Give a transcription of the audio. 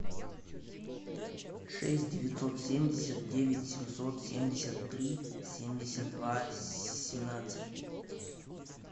шесть девятьсот семьдесят девять семьсот семьдесят три семьдесят два семнадцать